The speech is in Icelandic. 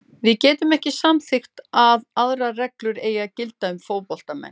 Við getum ekki samþykkt að aðrar reglur eigi að gilda um fótboltamenn.